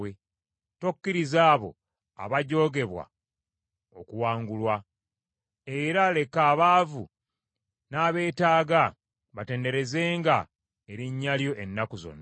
Tokkiriza abo abajoogebwa okuwangulwa; era leka abaavu n’abeetaaga batenderezenga erinnya lyo ennaku zonna.